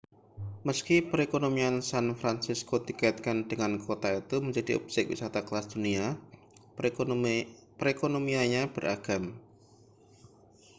meski perekonomian san francisco dikaitkan dengan kota itu menjadi objek wisata kelas dunia perekonomiannya beragam